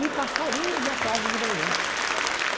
E passarinhos me acordam de manhã.